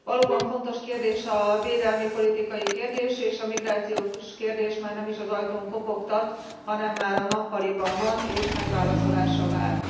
Valóban fontos kérdés a védelmi politikai kérdés, és a migrációs kérdés már nem is az ajtón kopogtat, hanem már a nappaliban van, és megválaszolásra vár.